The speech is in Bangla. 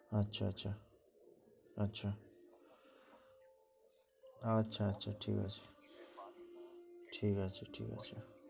আচ্ছা আচ্ছা আচ্ছা আচ্ছা আচ্ছা ঠিক আছে ঠিক আছে ঠিক আছে